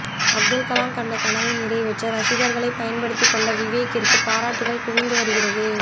அப்துல்கலாம் கண்ட கனவை நிறைவேற்ற ரசிகர்களை பயன்படுத்தி கொண்ட விவேக்கிற்கு பாராட்டுக்கள் குவிந்து வருகிறது